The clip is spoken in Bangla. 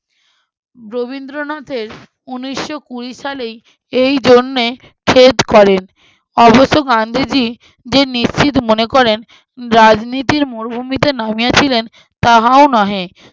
রবীন্দ্রনাথের উনিশশো কুঁড়ি সালেই এইজন্যে করেন। অবশ্য গান্ধীজি যে নিশ্চিত মনে করেন, রাজনীতির মরুভূমিতে নামিয়েছিলেন তাহাও নহে।